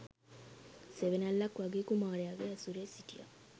සෙවනැල්ලක් වගේ කුමාරයාගේ ඇසුරේ සිටියා.